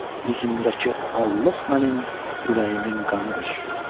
Üzümdəki allıq mənim ürəyimin qanıdır.